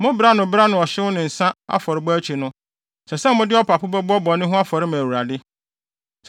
Mo bere ano bere ano ɔhyew ne nsa afɔrebɔ akyi no, ɛsɛ sɛ mode ɔpapo bɛbɔ bɔne ho afɔre ma Awurade.